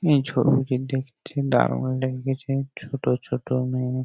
এই ছবিটি দেখতে দারুন লাগদেছে ছোটো ছোটো মেয়ে ।